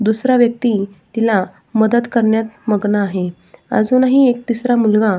दूसरा व्यक्ति तिला मदत करण्यात मग्न आहे अजुनही एक तिसरा मुलगा--